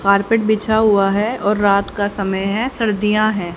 Carpet बिछा हुआ है और रात का समय है सर्दीया है।